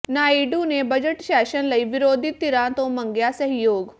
ਨਾਇਡੂ ਨੇ budget session ਲਈ ਵਿਰੋਧੀ ਧਿਰਾਂ ਤੋਂ ਮੰਗਿਆ ਸਹਿਯੋਗ